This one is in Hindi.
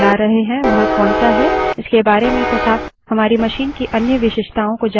आप जानना चाहेंगे कि लिनक्स kernel का version जो आप चला रहे हैं वह कौनसा है